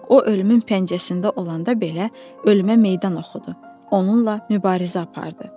Ancaq o ölümün pəncəsində olanda belə, ölümə meydan oxudu, onunla mübarizə apardı.